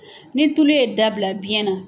Ni tulu ye dabila biɲɛ na.